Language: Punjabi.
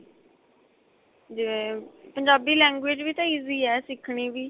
ਜਿਵੇਂ ਪੰਜਾਬੀ language ਵੀ ਤਾਂ easy ਏ ਸਿੱਖਣੀ ਵੀ